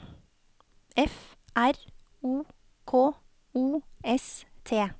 F R O K O S T